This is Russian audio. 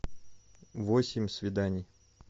восемь свиданий